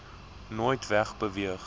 nooit weg beweeg